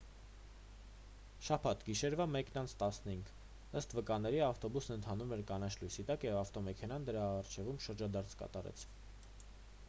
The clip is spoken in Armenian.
շաբաթ գիշերվա 1:15 ըստ վկաների ավտոբուսն ընթանում էր կանաչ լույսի տակ երբ ավտոմեքենան դրա առջևում շրջադարձ կատարեց